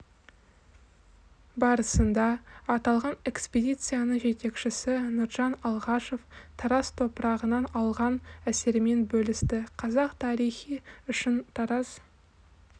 барысында аталған экспедицияның жетекшісі нұржан алғашов тараз топырағынан алған әсерімен бөлісті қазақ тарихы үшін тараз